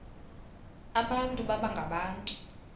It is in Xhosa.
abantu baba ngabantu